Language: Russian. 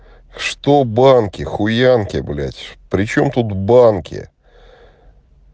что банки хуянки блять причём тут банки